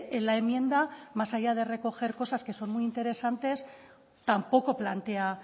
en la enmienda más allá de recoger cosas que son muy interesantes tampoco plantea